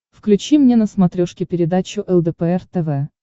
включи мне на смотрешке передачу лдпр тв